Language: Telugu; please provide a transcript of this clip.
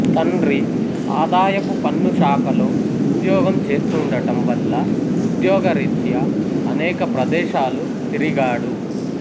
తండ్రి ఆదాయపు పన్ను శాఖలో ఉద్యోగం చేస్తుండటం వల్ల ఉద్యోగ రీత్యా అనేక ప్రదేశాలు తిరిగాడు